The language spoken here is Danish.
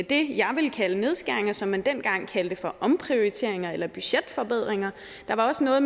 det jeg vil kalde nedskæringer som man dengang kaldte for omprioriteringer eller budgetforbedringer der var også noget